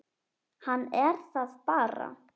Hann er það bara.